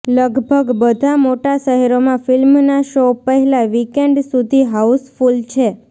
લગભગ બધા મોટા શહેરોમાં ફિલ્મના શો પહેલા વીકેન્ડ સુધી હાઉસફૂલ છે